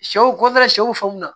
Sɛw kɔfɛ sɛw faamu na